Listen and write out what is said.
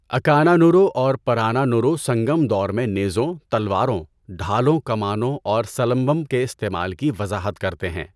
اکانانورو اور پرانانورو سنگم دور میں نیزوں، تلواروں، ڈھالوں، کمانوں اور سلمبم کے استعمال کی وضاحت کرتے ہیں۔